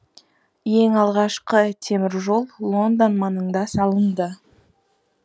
ең алғашқы темір жол лондон маңында салынды